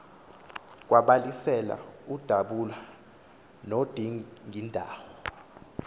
kwabalasela udabula nodingindawo